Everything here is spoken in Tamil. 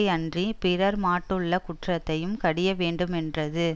யன்றி பிறர் மாட்டுள்ள குற்றத்தையும் கடிய வேண்டுமென்றது